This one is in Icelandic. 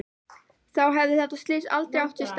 Þá hefði þetta slys aldrei átt sér stað.